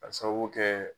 Ka sababu kɛ